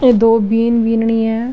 दो बिद बिंदनी है।